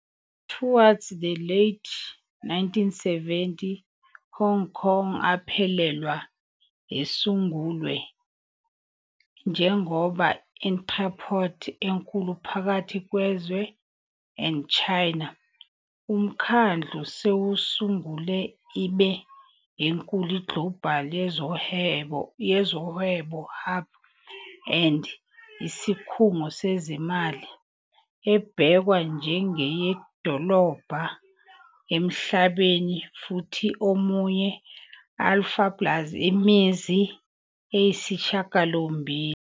Towards the late 1970, Hong Kong aphelelwa esungulwe njengoba entrepôt enkulu phakathi kwezwe and China. UMkhandlu sewusungule ibe enkulu global yezohwebo hub and isikhungo sezimali, ebhekwa njengenye idolobha emhlabeni futhi omunye Alpha plus imizi eyisishiyagalombili.